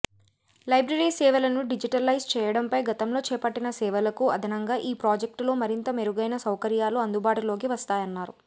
library సేవలను digitalise చేయడంపై గతంలో చేపట్టిన సేవలకు అదనంగా ఈ ప్రాజెక్టులో మరింత మెరుగైన సౌకర్యాలు అందుబాటులోకి వస్తాయన్నారు